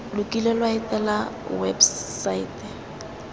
lo kile lwa etela websaete